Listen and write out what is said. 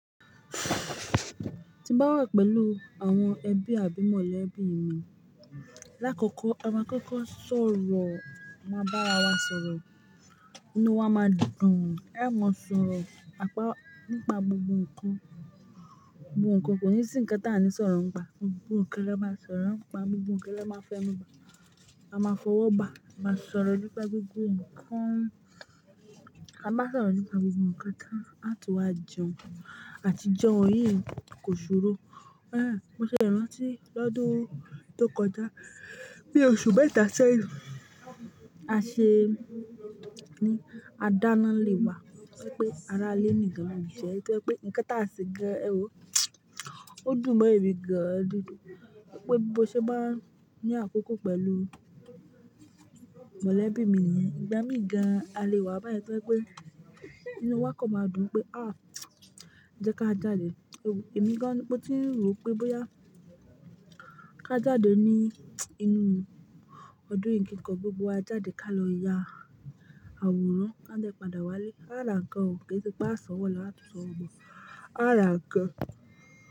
Ti ń bá wà pẹ̀lú àwọn ẹbí àbí mọ̀lẹ́bí mi, lákòókò àwọn kókó sọ̀ orọ̀, a máa bá ara wa sọ̀rọ̀, inú wa máa dùn gan o, ẹ̀ mọ sọ̀ orọ̀, àpá nípa gbogbo ǹkan, gbogbo ǹkan, kò ní sí ǹkan tí a ní sọ̀rọ̀ ń pa, gbogbo ǹkan ló máa sọ̀rọ̀ ń pa, gbogbo ǹkan ló máa fẹ́nu gba, a máa fọwọ́ bà, a máa sọ̀rọ̀ nípa gbogbo ǹkan, a máa sọ̀rọ̀ nípa gbogbo ǹkan, a tún wà jẹun, àti jẹun yìí kò ṣòro. Ah mo ṣẹ̀ràn ti lọ́dún tó kọjá, bí oṣù mẹ́ta ṣẹ́yìn, a ṣe ní, a dáná n'ilé wá, torípé ara lé ní kan ló jẹ́ tó jẹ́ pé ǹkan t'àṣe gan ẹ wo ó dùn mọ́ èmi gan-an nínú. Wípé bó ṣe bá ní àkókò pẹ̀lú mọ̀lẹ́bí mi yẹn, ìgbá mi gan-an, a lé wá báyìí tó pé inú wa kọ̀ máa dùn pé à, jẹ́ ká jáde, ẹ wo èmi gan-an mo ti rò pé bóyá ká jáde ní inú ọdún yìí kí nǹkan gbé gbogbo a jáde ká lọ ya àwòrán, ká dẹ́ padà wálé, á rà ǹkan ò, ké ṣe pé a san wọ lo, a tún san wo bo, a rà ǹkan.